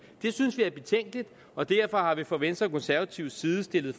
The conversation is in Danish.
det synes vi er betænkeligt og derfor har vi fra venstre og konservatives side stillet